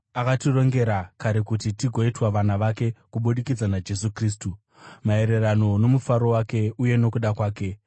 akatirongera kare kuti tigoitwa vana vake kubudikidza naJesu Kristu, maererano nomufaro wake uye nokuda kwake,